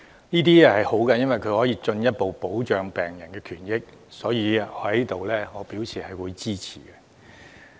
這是好事，因為可以進一步保障病人權益，我對此表示支持。